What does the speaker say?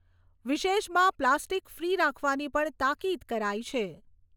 વિશેષમાં plastic free રાખવાની પણ તાકીદ કરાઈ છે.